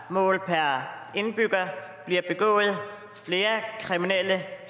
målt per indbygger bliver begået flere kriminelle